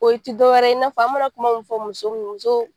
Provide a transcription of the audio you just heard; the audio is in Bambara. O ti dɔwɛrɛ ye,i na fɔ an mana kuma mun fɔ muso